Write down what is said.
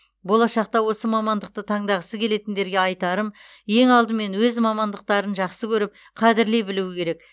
болашақта осы мамандықты таңдағысы келетіндерге айтарым ең алдымен өз мамандықтарын жақсы көріп қадірлей білуі керек